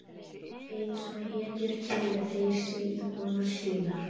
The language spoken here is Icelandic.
Einsog hetjur teygja þeir sig í konur sínar.